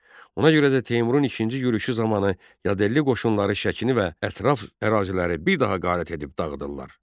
Ona görə də Teymurun ikinci yürüşü zamanı Yadelli qoşunları Şəkini və ətraf əraziləri bir daha qarət edib dağıdırlar.